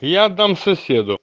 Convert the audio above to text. я аддамсов